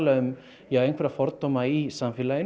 um einhverja fordóma í samfélaginu